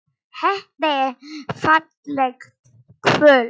Þetta er fallegt kvöld.